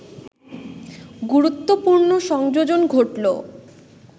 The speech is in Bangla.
গুরুত্বপূর্ণ সংযোজন ঘটল